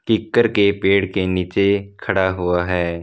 कीकर के पेड़ के नीचे खड़ा हुआ है।